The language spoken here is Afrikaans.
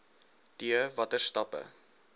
d watter stappe